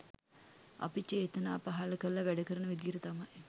අපි චේතනා පහළ කරලා වැඩකරන විදිහට තමයි